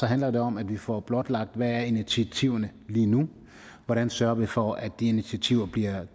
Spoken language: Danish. handler det om at vi får blotlagt hvad er initiativerne lige nu hvordan sørger vi for at de initiativer bliver